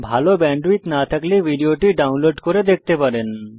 ভাল ব্যান্ডউইডথ না থাকলে আপনি ভিডিওটি ডাউনলোড করে দেখতে পারেন